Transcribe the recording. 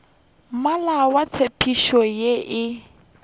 meela ya tshepetšo ye e